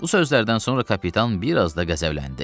Bu sözlərdən sonra kapitan biraz da qəzəbləndi.